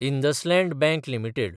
IndusInd bank limited